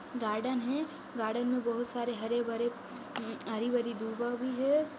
Garden है। Garden में बोहोत सारे हरे भरे हरी भरी दुबा भी है।